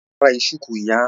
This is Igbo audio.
Ọ kpara shuku ụnyahụ